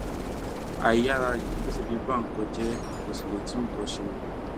àìyáàrá yìí ló sì fi ń ba nǹkan jẹ kó sì lè tún nǹkan kan ṣe